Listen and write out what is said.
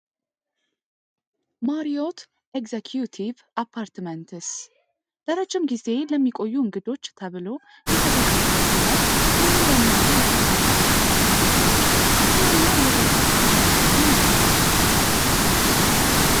ማሪዎት ኤክስኪውቲቨ አፓርትመንጽ ለረጅም ጊዜ ለሚቆዩ እንግዶች ተብሎ የተዘጋጀ ሲሆን ሙሉ ለሙሉ የተሟሉ አፓርትመንቶች ኩሽና እና የቤት ውስጥ አገልግሎትም አለው።